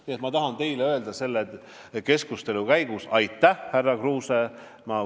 Nii et ma tahan teile selle keskustelu käigus öelda aitäh, härra Kruuse.